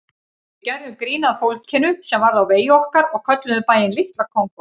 Við gerðum grín að fólkinu sem varð á vegi okkar og kölluðum bæinn Litla Kongó.